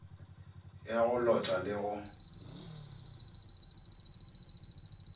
ya go lota le go